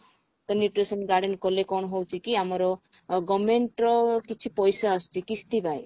ତ nutrition garden କଲେ କଣ ହଉଛି କି ଆମାର government ର କିଛି ପଇସା ଆସୁଛି କିସ୍ତି ପାଇଁ